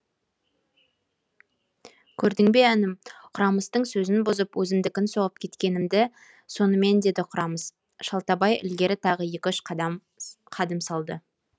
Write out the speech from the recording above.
көрдің бе інім құрамыстың сөзін бұзып өзімдікін соғып кеткенімді сонымен деді құрамыс шалтабай ілгері тағы екі үш қадым салды